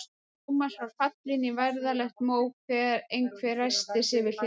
Thomas var fallinn í værðarlegt mók þegar einhver ræskti sig við hlið hans.